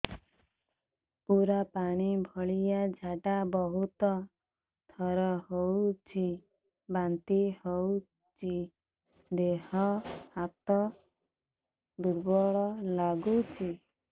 ପୁରା ପାଣି ଭଳିଆ ଝାଡା ବହୁତ ଥର ହଉଛି ବାନ୍ତି ହଉଚି ଦେହ ହାତ ଦୁର୍ବଳ ଲାଗୁଚି